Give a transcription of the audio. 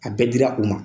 A bɛɛ dira u ma